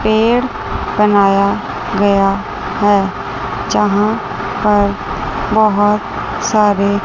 पेड़ बनाया गया है यहां पर बहुत सारे--